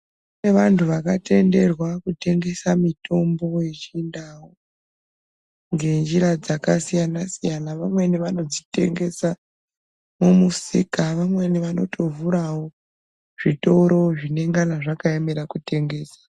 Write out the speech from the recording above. Kune vantu vakatenderwa kutengesa mitombo yechindau ngenjira dzakasiyana-siyana, vamweni vanodzitengesa mumusika, vamweni vanotovhurawo zvitoro zvinenge zvakaemera kutengesa.